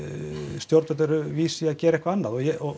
stjórnvöld eru vís til að gera eitthvað annað